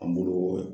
An bolo